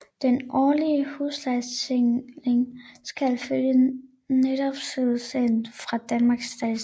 Den årlige huslejestigning skal følge nettoprisindekset fra Danmarks Statistik